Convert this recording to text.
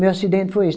Meu acidente foi esse.